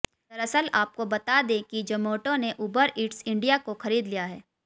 दरअसल आपको बता दे कि जोमैटो ने उबर ईट्स इंडिया को खरीद लिया है